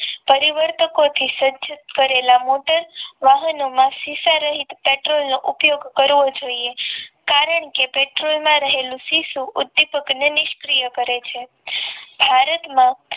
પરિવર્તકો થી સર્જત કરેલા મોટર વાહનોમાં શીશા રહીત પેટ્રોલનો ઉપયોગ કરવો જોઈએ કારણ કે પેટ્રોલમાં રહેલું શિશુ ઉદ્દીપક ને નિષ્ક્રિય કરે છે ભારતમાં